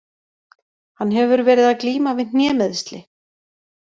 Hann hefur verið að glíma við hnémeiðsli.